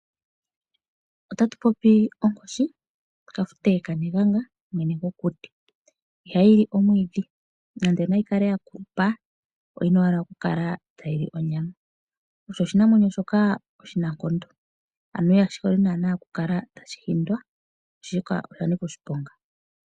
Otatu popi onkoshi Kafute kaNelyanga, mwene gokuti. Ihayi li omwiidhi, nande nayi kale ya kulupa oyina owala oku kala tayi li onyama. Osho oshinamwenyo shoka oshinankondo ano kashi hole nana oku kala tashi hindwa, oshoka oya nika oshiponga.